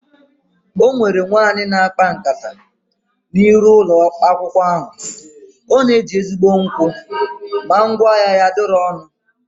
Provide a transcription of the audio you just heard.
Ọnwere nwaanyị na akpa nkata na iru ụlọ akwụkwọ ahụ, ọ na eji ezigbo nkwụ ma ngwa ahịa ya adịrọ ọnụ ana